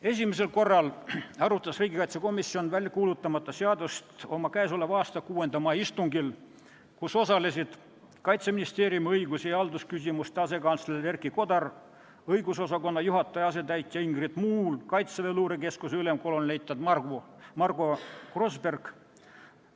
Esimesel korral arutas riigikaitsekomisjon väljakuulutamata seadust oma k.a 6. mai istungil, kus osalesid Kaitseministeeriumi õigus- ja haldusküsimuste asekantsler Erki Kodar, õigusosakonna juhataja asetäitja Ingrid Muul ning Kaitseväe luurekeskuse ülem kolonelleitnant Margo Grosberg.